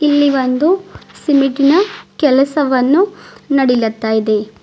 ಇಲ್ಲಿ ಒಂದು ಸಿಮಿಟಿ ನ ಕೆಲಸವನ್ನು ನಡಿಲತ್ತಾದೆ.